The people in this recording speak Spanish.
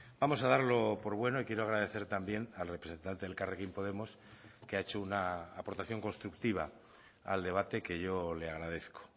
vamos a darlo por bueno y quiero agradecer también al representante de elkarrekin podemos que ha hecho una aportación constructiva al debate que yo le agradezco